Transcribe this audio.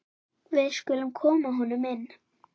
Við skulum koma honum inn!